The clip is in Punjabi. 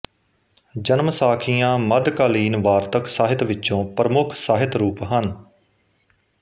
ਜਨਮ ਸਾਖੀਆਂ ਮੱਧਕਾਲੀਨ ਵਾਰਤਕ ਸਾਹਿਤ ਵਿਚੋਂ ਪ੍ਰਮੁੱਖ ਸਾਹਿਤ ਰੂਪ ਹਨ